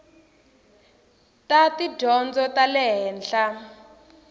ta tidyondzo ta le henhla